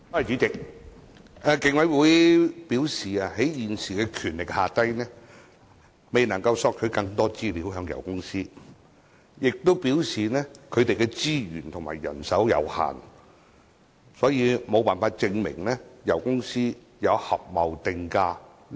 主席，競委會表示基於其現有權力，未能向油公司索取更多資料，並且表示該會的資源和人手有限，所以無法證明油公司有合謀定價的行為。